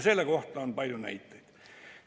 Selle kohta on palju näiteid.